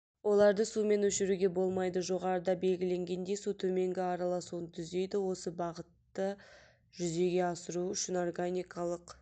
оларды сумен өшіруге болмайды жоғарыда белгіленгендей су төменгі араласуын түзейді осы бағытты жүзеге асыру үшін органикалық